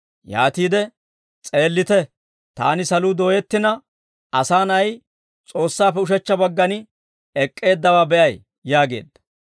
Yaatiide, «S'eellite, taani saluu dooyettina, Asaa Na'ay S'oossaappe ushechcha baggan ek'k'eeddawaa be'ay» yaageedda.